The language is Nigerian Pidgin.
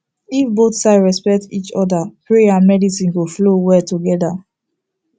if both side respect each other prayer and medicine go flow well together